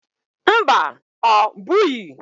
Mba ọ bughi